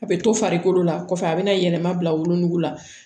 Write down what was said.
A bɛ to farikolo la kɔfɛ a bɛ na yɛlɛma bila wolonugu la